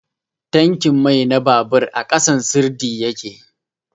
tankin mai na babur a ƙasan sirdi ya ke